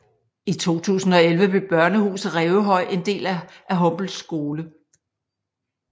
I 2011 blev Børnehuset Rævehøj en del af Humble Skole